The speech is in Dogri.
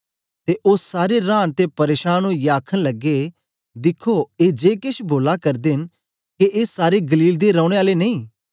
ते ओ सारे रांन ते परेशान ओईयै आखन लगे दिखो ए जे केछ बोला करदे न के ए सारे गलील दे रौने आले नेई